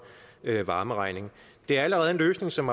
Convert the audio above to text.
varmeregning det er allerede en løsning som